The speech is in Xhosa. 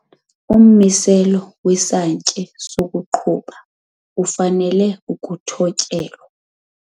Ummiselo wesantye sokuqhuba ufanele ukuthotyelwa.